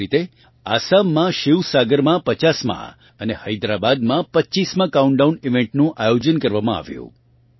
એવી જ રીતે આસામનાં શિવસાગરમાં 50માં અને હૈદરાબાદમાં 25માં કાઉન્ટડાઉન ઇવેન્ટનું આયોજન કરવામાં આવ્યું